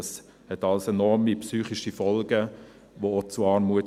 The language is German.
– Das hat alles enorme psychische Folgen und führt zu Armut.